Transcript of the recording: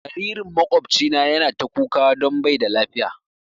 Jaririn makwabcina ya na ta kuka don bai da lafiya